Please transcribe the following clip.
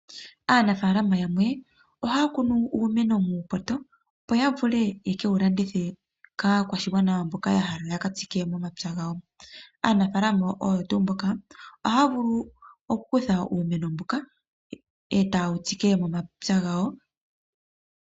Aanafaalama yamwe ohaya kunu uumeno muupoto, opo ya vule ye ke wu landithe kaakwashigwana mboka ya hala ya ka tsike momapya gawo. Aanafalaama oyo tuu mboka ohaya vulu okukutha uumeno mbuka e taye wu tsike momapya gawo.